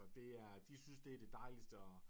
Det er de synes det det dejligste og